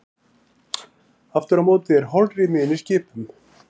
Aftur á móti er holrými inni í skipum.